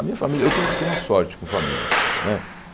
A minha família... Eu tenho tenho uma sorte com família, né?